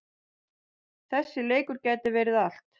Þessi leikur gæti verið allt.